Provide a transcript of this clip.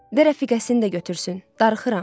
De rəfiqəsini də götürsün, darıxıram.